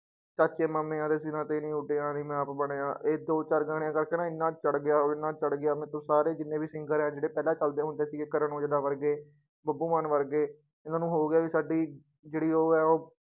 ਚਾਚੇ ਮਾਮਿਆਂ ਦੇ ਸਿਰਾਂ ਤੇ ਨੀ ਉੱਡਿਆ ਨੀ ਮੈਂ ਆਪ ਬਣਿਆ, ਇਹ ਦੋ ਚਾਰ ਗਾਣੇ ਕਰਕੇ ਨਾ ਇੰਨਾ ਚੜ੍ਹ ਗਿਆ ਉਹ ਇੰਨਾ ਚੜ੍ਹ ਗਿਆ ਮਤਲਬ ਸਾਰੇ ਜਿੰਨੇ singer ਹੈ ਜਿਹੜੇ ਪਹਿਲਾਂ ਚੱਲਦੇ ਹੁੰਦੇ ਸੀਗੇ ਕਰਨ ਔਜਲਾ ਵਰਗੇ, ਬੱਬੂ ਮਾਨ ਵਰਗੇ ਇਹਨਾਂ ਨੂੰ ਹੋ ਗਿਆ ਵੀ ਸਾਡੀ ਜਿਹੜੀ ਉਹ ਹੈ ਉਹ